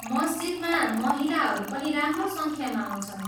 मस्जिदमा महिलाहरू पनि राम्रो सङ्ख्यामा आउँछन्।